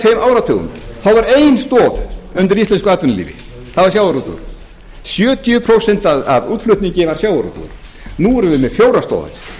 tveimur áratugum þá var ein stoð undir íslensku atvinnulífi það var sjávarútvegurinn sjötíu prósent af útflutningi var sjávarútvegur nú erum við með fjórar stoðir